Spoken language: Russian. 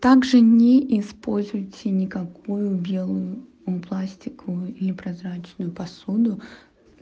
также не используйте никакую белую пластиковую или прозрачную посуду